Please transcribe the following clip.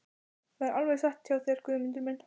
Það er alveg satt hjá þér Guðmundur minn.